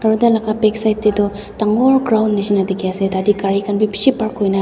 aro tai laka backside te toh dangor ground nishina ase tatr kari khan bi peshi park kurikena raki.